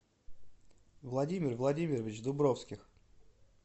владимир владимирович дубровских